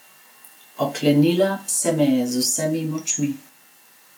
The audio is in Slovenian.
Oklenila se me je z vsemi močmi.